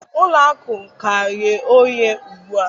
Ụlọ akụ ka nghe oghe ugbu a